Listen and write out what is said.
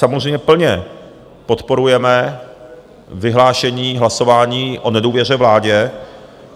Samozřejmě plně podporujeme vyhlášení hlasování o nedůvěře vládě.